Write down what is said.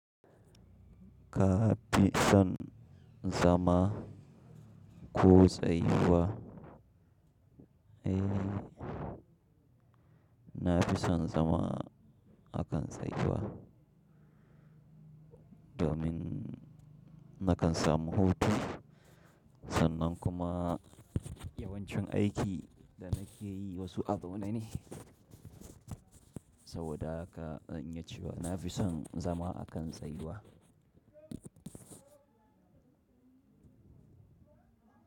Ka fi son zama ko tsayuwa? Eh, na fi son zama a kan tsayuwa, domin na kan samu hutu sannan kuma yawancin aikin da na ke yi wasu a zaune ne. Saboda haka zan yi cewa na fi son zama a kan tsayuwa.